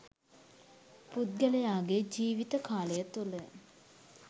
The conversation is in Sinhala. පුද්ගලයාගේ ජීවිත කාලය තුළ